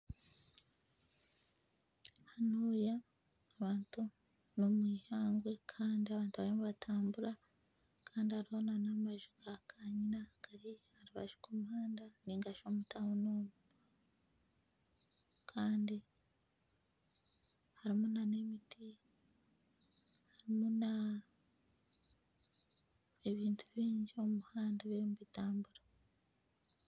Hanuya nomwihangwe Kandi hariyo nabantu bariyo nibatambura Kandi hariho n'amaju gakanyina gari aha rubaju rw'omuhanda ningashi omu tauni omu Kandi harimu nana emiti harimu na ebintu bingi biri omu muhanda birimu nibitambura